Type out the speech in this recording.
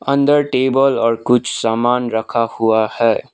अंदर टेबल और कुछ सामान रखा हुआ है।